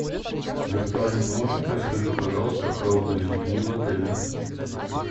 виртуальный помощник расскажи пожалуйста про отдых с детьми в отеле